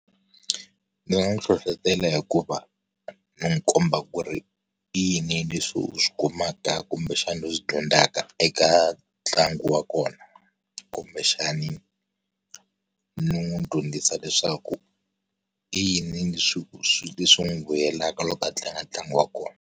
Ndzi nga n'wi hlohletela hi ku va, n'wi komba ku ri i yini leswi u swi kumaka kumbexana u swi dyondzaka eka ntlangu wa kona. Kumbexani, ni n'wi dyondzisa leswaku, i yini leswi leswi swi n'wi vuyelaka loko a tlanga ntlangu wa kona.